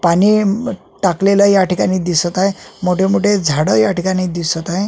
पाणी अ टाकलेल या ठिकाणी दिसत आहे मोठे मोठे झाड या ठिकाणी दिसत आहे.